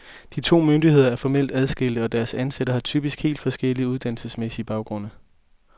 De to myndigheder er formelt adskilte, og deres ansatte har typisk helt forskellige uddannelsesmæssige baggrunde.